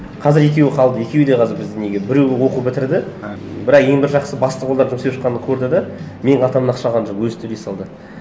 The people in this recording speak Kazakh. қазір екеуі қалды екеуі де қазір біздің неге біреуі оқу бітірді бір ай ең бір жақсысы бастық олар жұмыс істеп шыққанын көрді де менің қалтамнан ақша алған жоқ өзі төлей салды